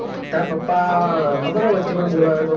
તાર પપ્પા ખબર હ વચે મન બોલોયો તો